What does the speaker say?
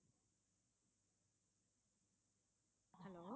hello